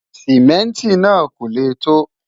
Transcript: simẹnti nà kò lẹ to